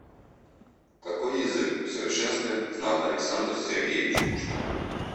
какой язык в совершенстве знал александр сергеевич пушкин